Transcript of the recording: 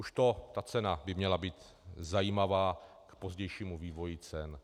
Už to, ta cena by měla být zajímavá k pozdějšímu vývoji cen.